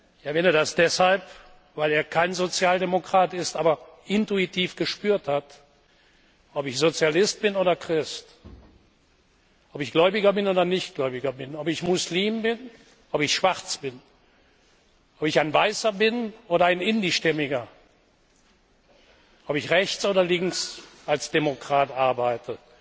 Ich erwähne das deshalb, weil er kein Sozialdemokrat ist, aber intuitiv gespürt hat Ob ich Sozialist bin oder Christ, ob ich gläubig bin oder nicht gläubig, ob ich Muslim bin, ob ich schwarz bin, ob ich ein Weißer bin oder ein Indischstämmiger, ob ich rechts oder links als Demokrat arbeite,